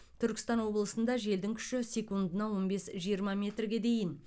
түркістан облысында желдің күші секундына он бес жиырма метрге дейін